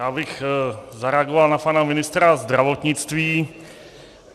Já bych zareagoval na pana ministra zdravotnictví.